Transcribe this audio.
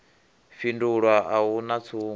fhindulwa a hu na tsumbo